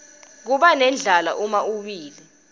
kubanendlala uma uwile